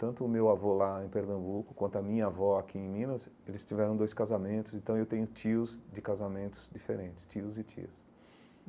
Tanto o meu avô lá em Pernambuco, quanto a minha avó aqui em Minas, eles tiveram dois casamentos, então eu tenho tios de casamentos diferentes, tios e tias.